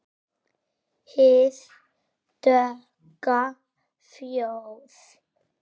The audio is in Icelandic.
Hið dökka fljóð.